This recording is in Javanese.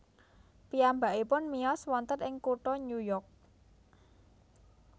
Piyambakipun miyos wonten ing kutha New York